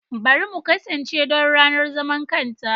Bari mu kasance don ranar zaman kanta!